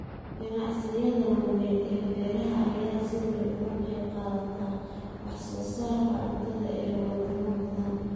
Ganacsiyada waaweyn ee beeraha ayaa si weyn uga qayb qaata wax soo saarka cuntada ee wadamo badan.